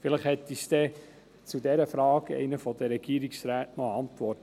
Vielleicht hat uns zu dieser Frage einer der Regierungsräte noch eine Antwort.